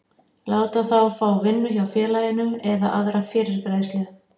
láta þá fá vinnu hjá félaginu eða aðra fyrirgreiðslu.